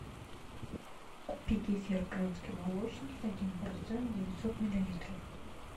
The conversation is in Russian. купи кефир крымский молочник один процент девятьсот миллилитров